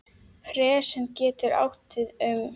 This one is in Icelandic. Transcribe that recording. Pressan getur átt við um